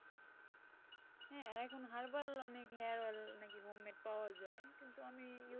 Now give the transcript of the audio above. হ্যাঁ এখন হারবাল অনেক hair oil নাকি home made পাওয়া যায় কিন্তু আমি।